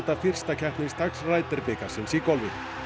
fyrsta keppnisdags bikarsins í golfi